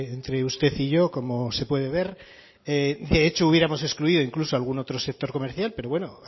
entre usted y yo como se puede ver de hecho hubiéramos excluido incluso algún otro sector comercial pero bueno